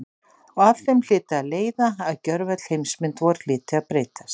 Og af þeim hlyti að leiða að gjörvöll heimsmynd vor hlyti að breytast.